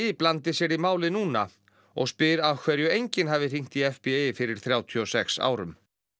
blandi sér í málið núna og spyr af hverju enginn hafi hringt í FBI fyrir þrjátíu og sex árum